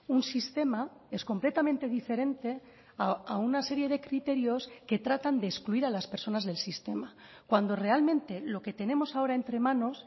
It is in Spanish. un sistema es completamente diferente a una serie de criterios que tratan de excluir a las personas del sistema cuando realmente lo que tenemos ahora entre manos